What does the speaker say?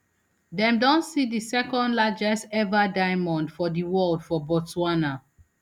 dem don see di secondlargest ever diamond for di world for botswana